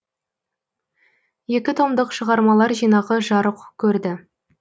екі томдық шығармалар жинағы жарық көрді